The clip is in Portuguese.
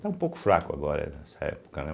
Está um pouco fraco agora nessa época, né?